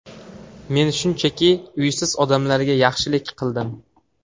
Men shunchaki, uysiz odamlarga yaxshilik qildim.